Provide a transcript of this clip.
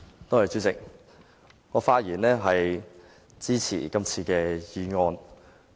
代理主席，我發言支持今次的議案。